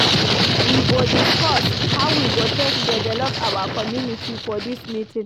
We go discuss how we go take develop our community for dis meeting.